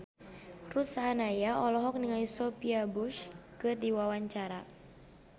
Ruth Sahanaya olohok ningali Sophia Bush keur diwawancara